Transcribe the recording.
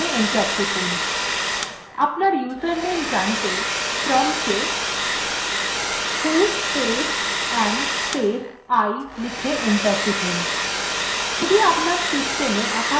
আপনার username জানতে prompt এ who space am space i লিখে enter টিপুন